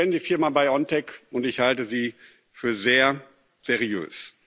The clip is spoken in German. Ich kenne die Firma BioNTech, und ich halte sie für sehr seriös.